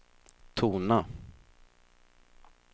tona